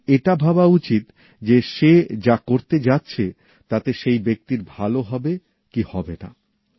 তাঁর এটা ভাবা উচিত যে সে যা করতে যাচ্ছে তাতে সেই ব্যক্তির ভালো হবে কি হবে না